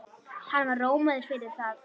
Hann var rómaður fyrir það.